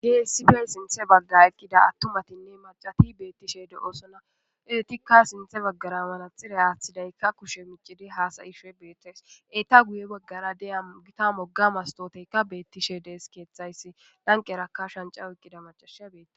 Sinthe bagara eqida atumatinne mac'ati betishe de'osona. Etika sinthe bagara manaxire athidayka kushe micid hasa'ashe betes, eta guye bagara diya Gita woga mastoteyaka betishe des.